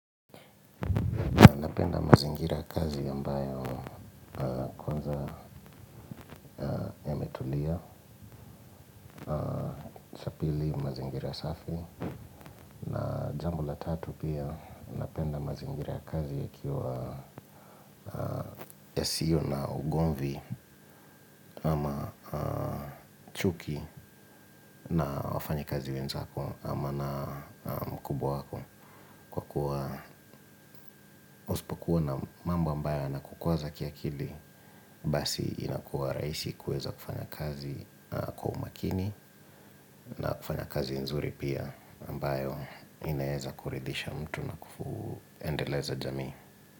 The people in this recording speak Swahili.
Napenda mazingira ya kazi ambayo kwanza pili, mazingira safi. Na jambo la tatu pia napenda mazingira ya kazi yakiwa yasiyo na ugomvi ama chuki na wafanyakazi wenzako ama na mkubwa wako. Kwa kuwa mambo ambayo yanakukwaza kiakili, basi inakuwa rahisi kuweza kufanya kazi kwa umakini. Fanya kazi nzuri pia ambayo inaeza kuridhisha mtu na kuendeleza jamii.